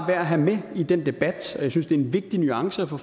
værd at have med i den debat og jeg synes det er en vigtig nuance at få